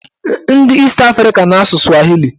Ndị East Africa na-asụ swahili